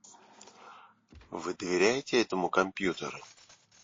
вы доверяете этому компьютеру